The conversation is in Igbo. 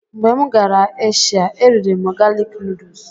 Mgbe m gara Eshia, e riri m galik nuduls.